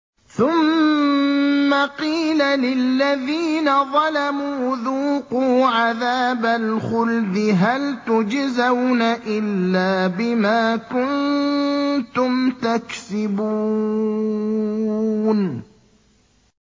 ثُمَّ قِيلَ لِلَّذِينَ ظَلَمُوا ذُوقُوا عَذَابَ الْخُلْدِ هَلْ تُجْزَوْنَ إِلَّا بِمَا كُنتُمْ تَكْسِبُونَ